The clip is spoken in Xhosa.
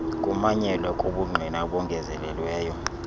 kumanyelwa kobungqina obengezelelweyo